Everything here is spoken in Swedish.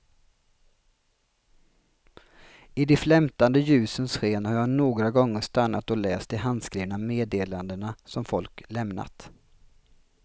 I de flämtande ljusens sken har jag några gånger stannat och läst de handskrivna meddelandena som folk lämnat.